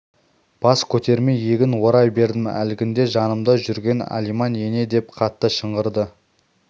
бас көтермей егін ора бердім әлгінде жанымда жүрген алиман ене деп қатты шыңғырды